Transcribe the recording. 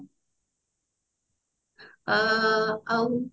ଅ ଆଉ